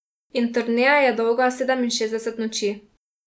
In turneja je dolga sedeminšestdeset noči.